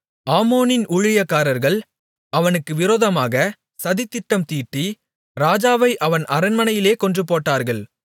ஆமோனின் ஊழியக்காரர்கள் அவனுக்கு விரோதமாக சதித்திட்டம் தீட்டி ராஜாவை அவன் அரண்மனையிலே கொன்றுபோட்டார்கள்